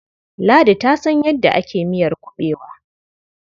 Ladi ta san yadda ake miyar kuɓewa.